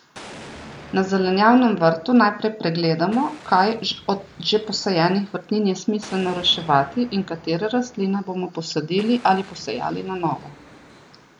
Na zelenjavnem vrtu najprej pregledamo, kaj od že posajenih vrtnin je smiselno reševati in katere rastline bomo posadili ali posejali na novo.